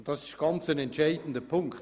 Das ist ein ganz entscheidender Punkt.